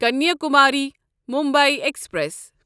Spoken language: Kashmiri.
کنیاکماری مُمبے ایکسپریس